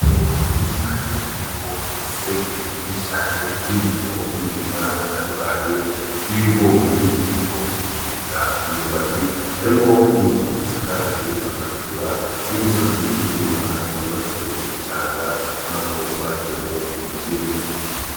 Itongo rinini cane ririko imiserege myinshi cane y'indimo y'imirima itandukanye y'ibigori, ibitoki eka imyumbati harimwo n'inzu isakaje amategura n'imisozi, n'imirima yubatse mugishanga ubonako bateyemwo imiceri.